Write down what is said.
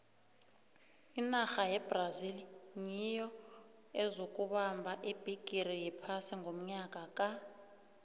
inarha yebrazil nyiyo eyokubamba ibhigiri yephasi ngonyaka ka